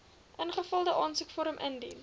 ingevulde aansoekvorm indien